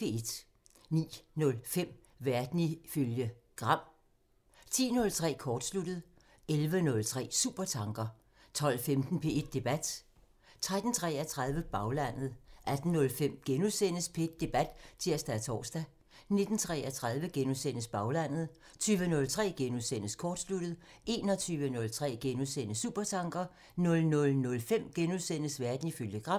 09:05: Verden ifølge Gram (tir) 10:03: Kortsluttet (tir) 11:03: Supertanker (tir) 12:15: P1 Debat (tir-tor) 13:33: Baglandet (tir) 18:05: P1 Debat *(tir-tor) 19:33: Baglandet *(tir) 20:03: Kortsluttet *(tir) 21:03: Supertanker *(tir) 00:05: Verden ifølge Gram *(tir)